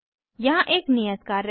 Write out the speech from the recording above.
यहाँ एक नियत कार्य है